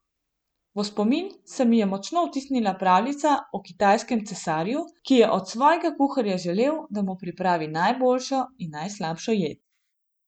V spomin se mi je močno vtisnila pravljica o kitajskem cesarju, ki je od svojega kuharja želel, da mu pripravi najboljšo in najslabšo jed.